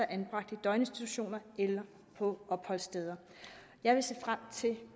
er anbragt i døgninstitutioner eller på opholdssteder jeg vil se frem til